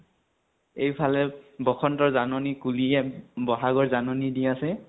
এইফালে বসন্তৰ জাননী কুলীয়ে বহাগৰ জাননী দি আছে।